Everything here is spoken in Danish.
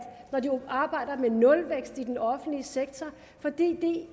når de arbejder med nulvækst i den offentlige sektor fordi det